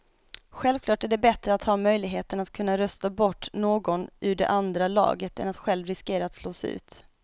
Självklart är det bättre att ha möjligheten att kunna rösta bort någon ur det andra laget än att själv riskera att slås ut.